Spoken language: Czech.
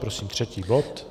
Prosím třetí bod.